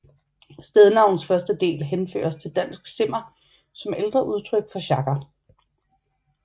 Stednavnets første led henføres til dansk simmer som ældre udtryk for sjagger